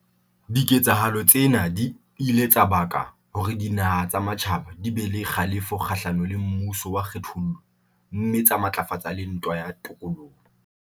Diketsahalo tsena di ile tsa baka hore dinaha tsa matjhaba di be le kgalefo kgahlano le mmuso wa kgethollo mme tsa matlafatsa le ntwa ya tokoloho.